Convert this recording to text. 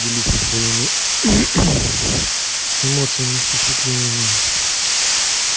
делиться своими эмоциями впечатлениями